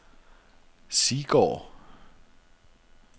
Siggård